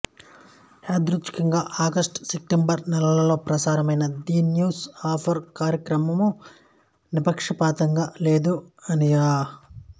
యాదృచ్ఛికంగా August September నెలలలో ప్రసారమైన ది న్యూస్ అవర్ కార్యక్రమము నిష్పక్షపాతంగా లేదు అనియూ